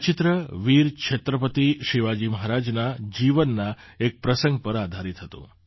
આ ચિત્ર વીર છત્રપતિ શિવાજી મહારાજના જીવનના એક પ્રસંગ પર આધારિત હતું